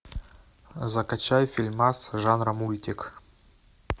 закачай фильмас жанра мультик